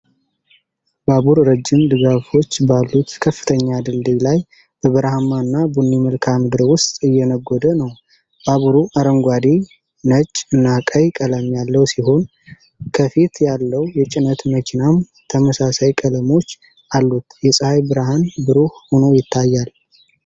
ባቡር ረጅም ድጋፎች ባሉት ከፍተኛ ድልድይ ላይ በበረሃማና ቡኒ መልክዓ ምድር ውስጥ እየነጎደ ነው። ባቡሩ አረንጓዴ፣ ነጭ እና ቀይ ቀለም ያለው ሲሆን፣ ከፊት ያለው የጭነት መኪናም ተመሳሳይ ቀለሞች አሉት። የፀሐይ ብርሃን ብሩህ ሆኖ ይታያል።